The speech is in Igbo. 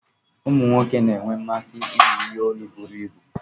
Ụmụ nwoke na-enwe mmasị iyi ihe olu buru ibu.